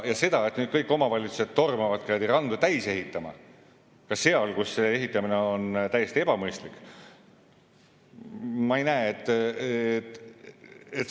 Ja seda, et nüüd kõik omavalitsused tormavad randu täis ehitama, ka seal, kus see ehitamine on täiesti ebamõistlik, ma ei näe.